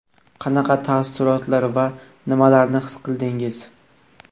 Qanaqa taassurotlar va nimalarni his qildingiz?